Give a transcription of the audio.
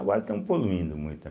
Agora estão poluindo muito, né?